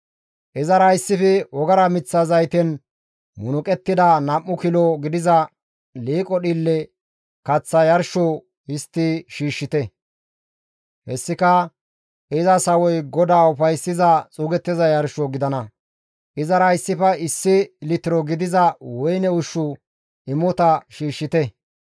Izara issife wogara miththa zayten munuqettida nam7u kilo gidiza liiqo dhiille kaththa yarsho histti shiishshite; hessika iza sawoy GODAA ufayssiza xuugettiza yarsho gidana; izara issife issi litiro gidiza woyne ushshu imota shiishshite.